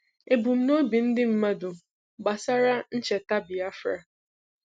Ebumnobi ndị mmadụ gbasara ncheta Biafra